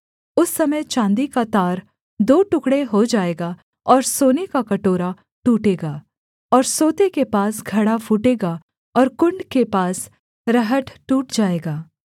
उस समय चाँदी का तार दो टुकड़े हो जाएगा और सोने का कटोरा टूटेगा और सोते के पास घड़ा फूटेगा और कुण्ड के पास रहट टूट जाएगा